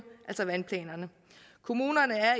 altså vandplanerne kommunerne er